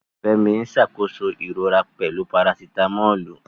Fẹ́mi ń ṣàkóso ìrora pẹ̀lú Parasitamọ́ọ̀lù.